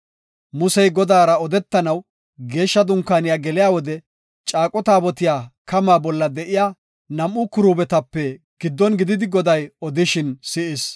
Musey Godaara odetanaw Geeshsha Dunkaaniya geliya wode caaqo taabotiya kamaa bolla de7iya nam7u kiruubetape giddon gididi Goday odishin si7is.